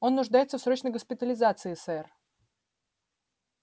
он нуждается в срочной госпитализации сэр